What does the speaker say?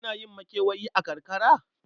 Ana yin makewayi a karkara?